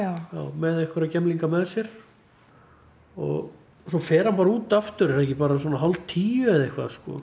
með einhverja gemlinga með sér og svo fer hann bara út aftur er það ekki bara svona hálf tíu eða eitthvað sko